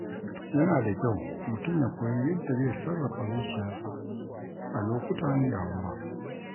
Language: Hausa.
Yana da kyau mutum ya koyi yadda zai sarrafa zuciyarsa a lokutan damuwa.